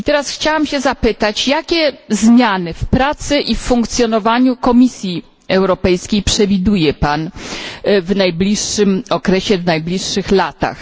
Chciałabym się zapytać, jakie zmiany w pracy i w funkcjonowaniu Komisji Europejskiej przewiduje pan w najbliższym okresie i najbliższych latach?